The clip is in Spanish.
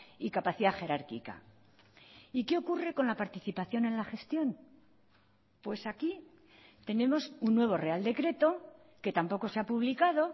y capacidad jerárquica y qué ocurre con la participación en la gestión pues aquí tenemos un nuevo real decreto que tampoco se ha publicado